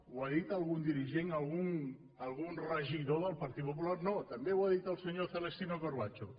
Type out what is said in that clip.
ho ha dit algun dirigent algun regidor del partit popu·lar no també ho ha dit el senyor celestino corbacho